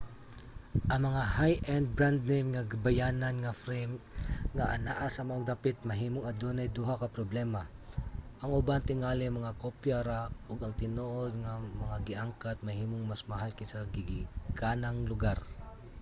ang mga high-end brand-name nga bayanan nga frame nga anaa sa maong dapit mahimong adunay duha ka problema; ang uban tingali mga kopya ra ug ang tinuod nga mga gi-angkat mahimong mas mahal kaysa sa gigikanang lugar